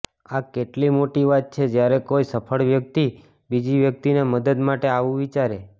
આ કેટલી મોટી વાત છે જ્યારે કોઇ સફળ વ્યક્તિ બીજી વ્યક્તિની મદદ માટે આવુ વિચારે